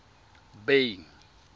bay